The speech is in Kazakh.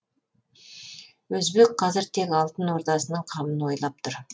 өзбек қазір тек алтын ордасының қамын ойлап тұр